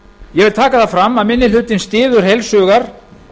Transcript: ég vil taka það fram að minni hlutinn styður heilshugar